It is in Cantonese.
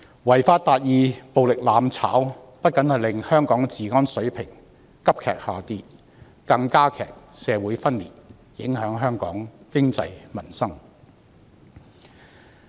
違法達義、暴力"攬炒"不僅令香港的治安水平急劇下跌，更加劇社會分裂，影響香港經濟、民心。